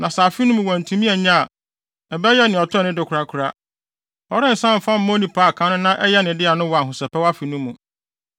Na sɛ afe no mu wantumi annye a, ɛbɛyɛ nea ɔtɔe no de korakora. Ɔrensan mfa mma onipa a kan no na ɛyɛ ne dea no wɔ Ahosɛpɛw Afe no mu.